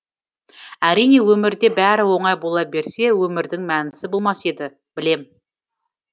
әрине өмірде бәрі оңай бола берсе өмірдің мәнісі болмас еді білем